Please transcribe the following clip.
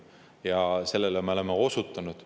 Ja sellele me oleme osutanud.